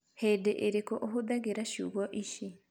hĩndĩ ĩrĩkũ ũhũthagĩra ciugo ici